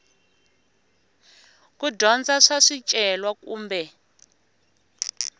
ku dyondza swa swicelwa kumbe